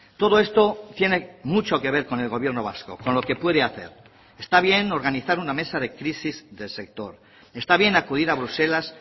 todo esto tiene mucho que ver con el gobierno vasco con lo que puede hacer está bien organizar una mesa de crisis del sector está bien acudir a bruselas